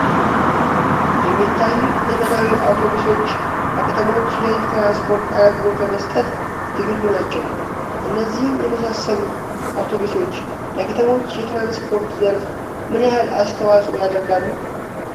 የሚታዩት ዘመናዊ አውቶቡሶች በከተሞች የሕዝብ ትራንስፖርት አገልግሎት ለመስጠት ዝግጁ ናቸው። እነዚህን የመሳሰሉ አውቶቡሶች ለከተሞች የትራንስፖርት ዘርፍ ምን ያህል አስተዋጽኦ ያደርጋሉ?